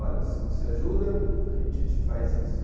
Olha, se você ajuda, a gente te faz isso.